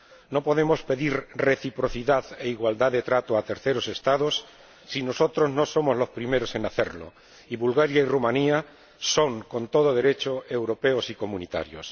No podemos pedir reciprocidad e igualdad de trato a terceros Estados si nosotros no somos los primeros en hacerlo, y Bulgaria y Rumanía son, con todo derecho, europeos y comunitarios.